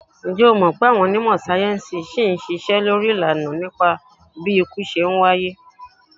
Ǹjẹ́ o mọ̀̀ pé àwọn onímọ̀ sáyẹ́ńsì ṣì ń ṣiṣẹ́ lórí ìlànà tí ikú fi ń wáyé?